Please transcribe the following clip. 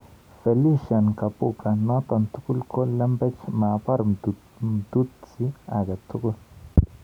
Felician Kabuga:Notok tugul ko lembech, maabar Mtutsi age tugul.